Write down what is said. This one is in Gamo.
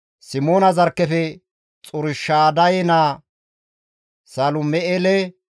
Simoona zarkkefe Xurshadaye naa Salum7eele,